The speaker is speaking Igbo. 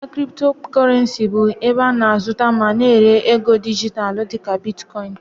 Ahịa Cryptocurrency bụ ebe a na-azụta ma na-ere ego dijitalụ dịka Bitkọin